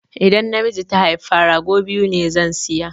Idan namiji ta haifa, rago biyu ne zan saya